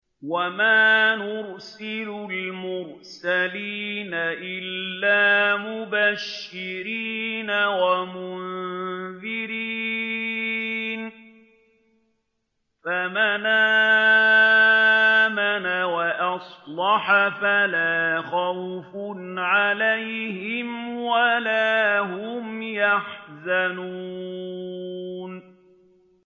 وَمَا نُرْسِلُ الْمُرْسَلِينَ إِلَّا مُبَشِّرِينَ وَمُنذِرِينَ ۖ فَمَنْ آمَنَ وَأَصْلَحَ فَلَا خَوْفٌ عَلَيْهِمْ وَلَا هُمْ يَحْزَنُونَ